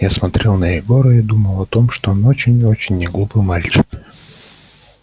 я смотрел на егора и думал о том что он очень-очень неглупый мальчик